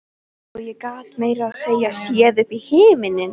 Og ég gat meira að segja séð upp í himininn.